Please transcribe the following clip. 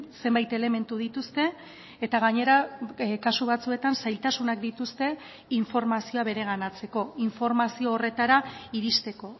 zenbait elementu dituzte eta gainera kasu batzuetan zailtasunak dituzte informazioa bereganatzeko informazio horretara iristeko